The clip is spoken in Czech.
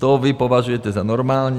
To vy považujete za normální?